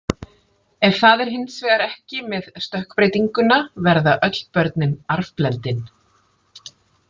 Ef það er hins vegar ekki með stökkbreytinguna verða öll börnin arfblendin.